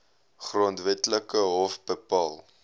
grondwetlike hof bepaal